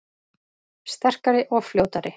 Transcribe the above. Sterkari og fljótari